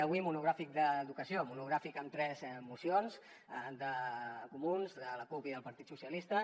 avui monogràfic d’educació monogràfic amb tres mocions de comuns de la cup i del partit socialistes